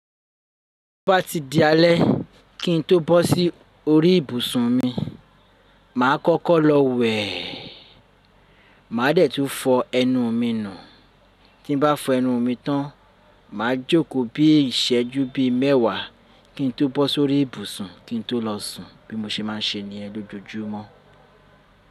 Tí o bá ti di alẹ́ kí n tó bọ́ sí orí ìbùsùn mi, mà á kọ́kọ́ lọ wẹ̀e. Màá dẹ̀ tún fọ ẹnu mi nù. Tí n bá fọ ẹnu mi tán, mà á jókòó bí ìsẹ́jú bí mẹ́wàá kí n tó bọ́ sórí ìbùsùn kí n tó lọ sùn bí mo ṣe ma n ṣe níyen l'ójoojúmọ́.